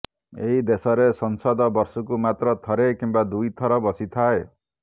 ଏହି ଦେଶରେ ସଂସଦ ବର୍ଷକୁ ମାତ୍ର ଥରେ କିମ୍ବା ଦୁଇ ଥର ବସିଥାଏ